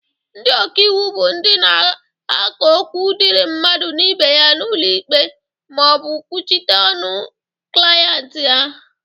Ndị ọkaiwu bụ ndị na-aka okwu dịri mmadụ na ibe ya n'ụlọ ikpe ma ọ bụ kwuchite ọnụ klienti ha.